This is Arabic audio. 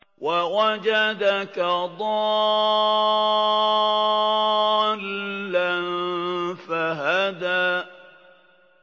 وَوَجَدَكَ ضَالًّا فَهَدَىٰ